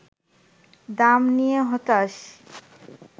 দাম নিয়ে হতাশ